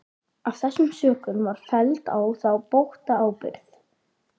Af þessum sökum var felld á þá bótaábyrgð.